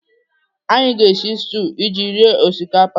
Anyị ga-esi stuu iji rie osikapa.